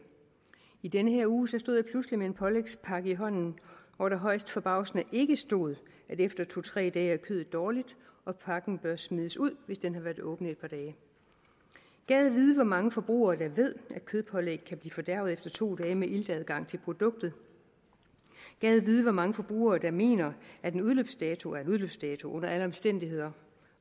i den her uge stod jeg pludselig med en pålægspakke i hånden hvor der højst forbavsende ikke stod at efter to tre dage er kødet dårligt og pakken bør smides ud hvis den har været åben et par dage gad vide hvor mange forbrugere der ved at kødpålæg kan blive fordærvet efter to dage med iltadgang til produktet gad vide hvor mange forbrugere der mener at en udløbsdato er en udløbsdato under alle omstændigheder